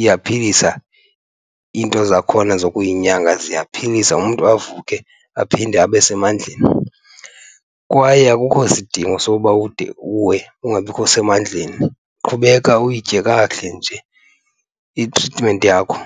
iyaphilisa, iinto zakhona zokuyinyanga ziyaphilisa umntu avuke aphinde abe semandleni. Kwaye akukho sidingo soba ude uwe ungabikho semandleni, qhubeka uyitye kakuhle nje itritimenti yakho.